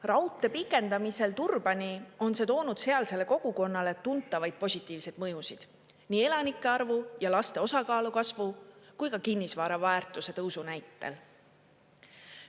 Raudtee pikendamisel Turbani on see toonud sealsele kogukonnale tuntavaid positiivseid mõjusid nii elanike arvu ja laste osakaalu kasvu kui ka kinnisvara väärtuse tõusu näitel.